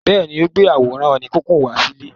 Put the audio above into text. Bẹ́ẹ̀ ni, ó gbé àwòrán oníkíkùn wá sílé.